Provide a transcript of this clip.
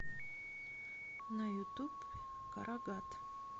на ютуб карагат